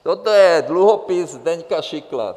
Tohle je dluhopis Zdeňka Šikla.